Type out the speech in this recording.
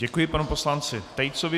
Děkuji panu poslanci Tejcovi.